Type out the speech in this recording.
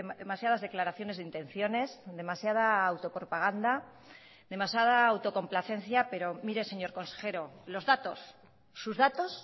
demasiadas declaraciones de intenciones demasiada autopropaganda demasiada autocomplacencia pero mire señor consejero los datos sus datos